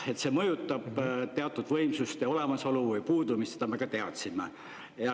Et see mõjutab teatud võimsuste olemasolu või puudumist, seda me ka teadsime.